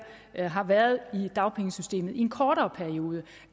har været i dagpengesystemet i en kortere periode